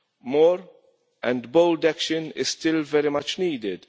More and bold action is still very much needed.